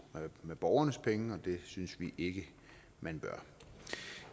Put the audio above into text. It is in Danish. med borgernes penge og det synes vi ikke man bør